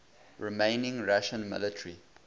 remaining russian military